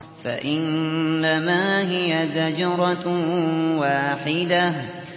فَإِنَّمَا هِيَ زَجْرَةٌ وَاحِدَةٌ